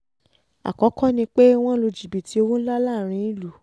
àkọ́kọ́ ni pé wọ́n lu jìbìtì owó ńlá láàrin ìlú